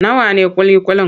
Nawa ne ƙuli-ƙuli?